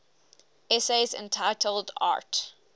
essays entitled arte